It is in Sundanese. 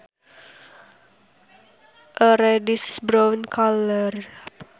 A reddish brown color